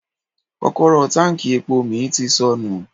Kọ́kọ́rọ́ táǹkì epo mi ti sọnù.